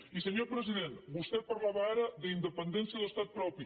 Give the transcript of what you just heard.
i senyor president vostè parlava ara d’independència o d’estat propi